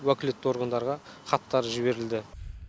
уәкілетті органдарға хаттар жіберілді